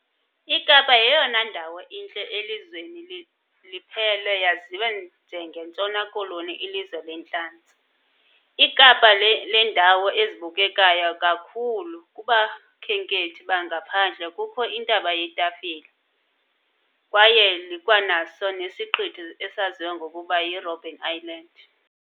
iKapa yeyona ndawo intle elizweni liphela yaziwa njenge ntshona-koloni ilizwe lentlantsi, ikapa lendawo ezibukekayo kakhulu kubakhenkethi bangaphandle kukho iNtaba yeTafile kwaye likwanaso nesiqithi esaziwa ngokuba yiRobben island